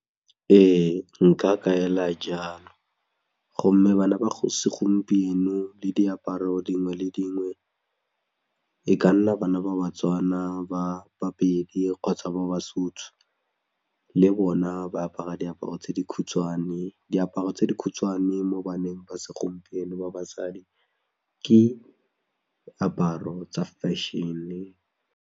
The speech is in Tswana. Ee nka kaela jalo, gomme bana ba go segompieno le diaparo dingwe le dingwe e ka nna bana ba baTswana ba baPedi kgotsa ba baSotho le bona ba apara diaparo tse di khutshwane diaparo tse di khutshwane mo baneng ba segompieno ba basadi ke aparo tsa fashion-e.